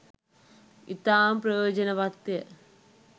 ඉතාම ප්‍රයෝජනවත් ය.